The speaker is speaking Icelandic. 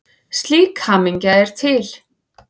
Slík hamingja er til.